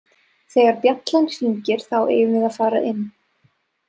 Þegar bjallan hringir þá eigum við að fara inn